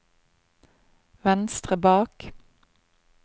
venstre bak